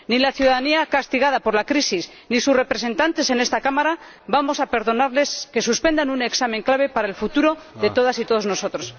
Ni la ciudadanía castigada por la crisis ni sus representantes en esta Cámara vamos a perdonarles que suspendan un examen clave para el futuro de todas y todos nosotros.